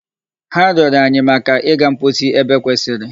Ha rịọrọ anyi maka iga mposi ebe kwesịrị.